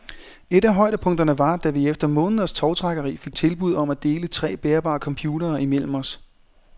Et af højdepunkterne var, da vi efter måneders tovtrækkeri fik tilbud om at dele tre bærbare computere imellem os.